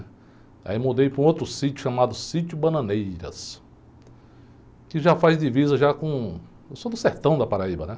Aí eu mudei para um outro sítio chamado, que já faz divisa já com... Eu sou do sertão da, né?